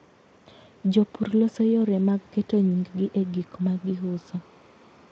Jopur loso yore mag keto nying'gi e gik ma giuso.